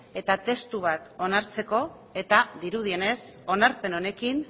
eta testu bat onartzeko eta dirudienez onarpen honekin